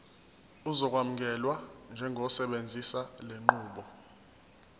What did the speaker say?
uzokwamukelwa njengosebenzisa lenqubo